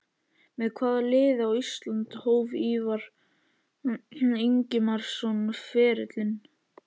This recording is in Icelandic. Með hvaða liði á Íslandi hóf Ívar Ingimarsson ferilinn?